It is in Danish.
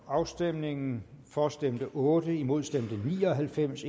afstemningen for stemte otte imod stemte ni og halvfems